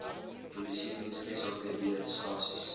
polisiediens sapd stasies